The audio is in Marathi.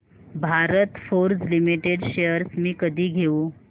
भारत फोर्ज लिमिटेड शेअर्स मी कधी घेऊ